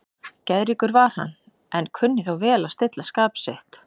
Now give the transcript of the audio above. Geðríkur var hann, en kunni þó vel að stilla skap sitt.